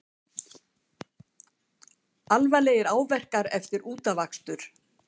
Alvarlegir áverkar eftir útafakstur